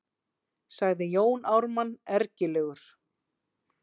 sagði Jón Ármann ergilegur.